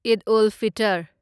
ꯑꯩꯗ ꯑꯜ ꯐꯤꯇꯔ